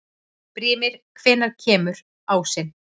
Brímir, hvenær kemur ásinn?